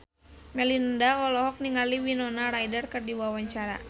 Melinda olohok ningali Winona Ryder keur diwawancara